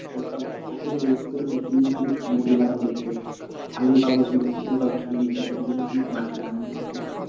এই সব কপি লাগিয়েছি তার জন্য খানিক মাঠে এলাম দেখতে। ছাগল পাগল সব আছে তো সব খেয়ে নিচ্ছে তার জন্য খানিক মাঠে এলাম আমি দেখতে